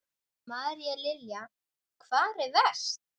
María Lilja: Hvar er verst?